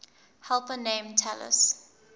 helper named talus